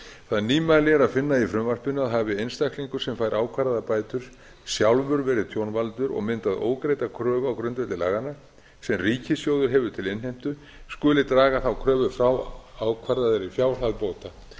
það nýmæli er að finna í frumvarpinu að hafi einstaklingur sem fær ákvarðaðar bætur sjálfur verið tjónvaldur og myndað ógreidda kröfu á grundvelli laganna sem ríkissjóður hefur til innheimtu skuli draga þá kröfu frá ákvarðaðri fjárhæð bóta